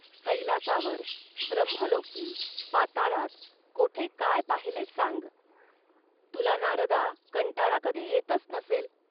कैलासावर, ब्रम्हलोकी, पाताळात, कोठे काय पाहिलेस, सांग. तुला नारदा, कंटाळा कधी येतच नसेल